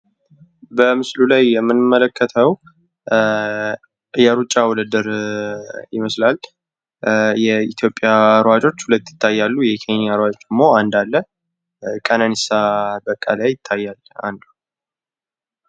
በምስሉ ላይ የምንመለከተው የሩጫ ውድድር ይመስላል። የኢትዮጵያ ሯጮች ሁለት ይታያሉ ፤የኬንያ ሯጮች አንድ አለ። ቀነኒሳ በቀለ ይታያል